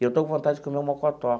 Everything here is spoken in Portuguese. Eu estou com vontade de comer um mocotó.